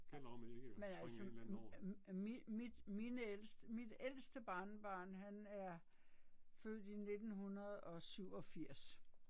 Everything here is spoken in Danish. Men altså mit mine ældst mit ældste barnebarn han er født i 1987